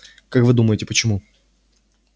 как вы думаете почему